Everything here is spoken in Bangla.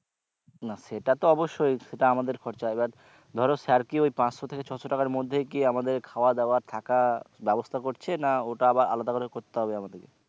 না সেটা তো অব্যশই সেটা আমাদের খরচা এবার ধরো sir কি ওই পাঁচশোর থেকে ছশো টাকার মধ্যে কি আমাদের খাওয়া দাওয়া থাকা ব্যবস্থা করছে না ওটা আবার আলাদা করে করতে হবে আমাদেরকে